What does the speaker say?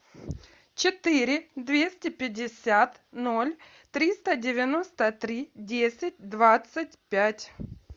четыре двести пятьдесят ноль триста девяносто три десять двадцать пять